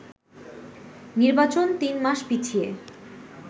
নির্বাচন তিন মাস পিছিয়ে